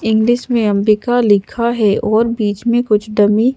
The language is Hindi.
इंग्लिश में अंबिका लिखा है और बीच में कुछ डमी --